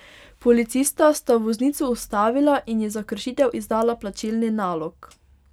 Policista sta voznico ustavila in ji za kršitev izdala plačilni nalog.